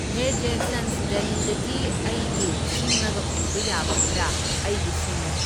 ꯍꯦ ꯖꯦꯁꯟꯁ ꯗꯦꯂꯤꯗꯒꯤ ꯑꯩꯒꯤ ꯁꯤꯡꯉꯒ ꯄꯨꯕ ꯌꯥꯕ ꯈꯔ ꯑꯩꯒꯤ ꯁꯤꯡꯉꯨ